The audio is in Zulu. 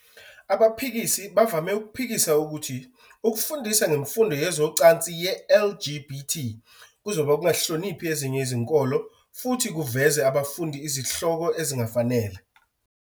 Abaphikisi bavame ukuphikisa ukuthi ukufundisa ngemfundo yezocansi ye-LGBT kuzoba ukungahloniphi ezinye izinkolo futhi kuveze abafundi izihloko ezingafanele.